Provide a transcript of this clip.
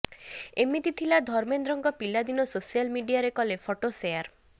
ଏମତି ଥିଲା ଧର୍ମେନ୍ଦ୍ରଙ୍କ ପିଲାଦିନ ସୋସିଆଲ୍ ମଡିଆରେ କଲେ ଫଟୋ ସେୟାର